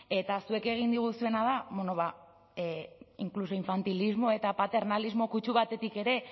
eta zuek egin diguzuena da bueno inkluso infantilismo eta paternalismo kutsu batetik ere